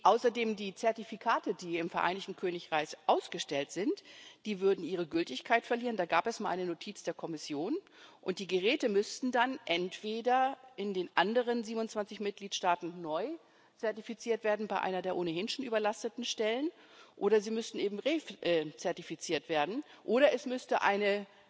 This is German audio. Außerdem würden die im Vereinigten Königreich ausgestellten Zertifikate ihre Gültigkeit verlieren da gab es mal eine Notiz der Kommission und die Geräte müssten dann entweder in den anderen 27 Mitgliedstaaten neu zertifiziert werden, bei einer der ohnehin schon überlasteten Stellen, oder sie müssen eben re zertifiziert werden, oder es müsste eine